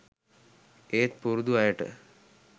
ඒත් පුරුදු අයට